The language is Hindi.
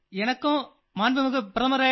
आपसे बात करने में मुझे बहुत प्रसन्नता हुई